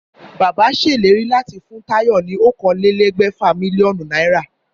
Bàbá sèlérí láti fún Táyò ní okòólégbèfà mílíónù náírà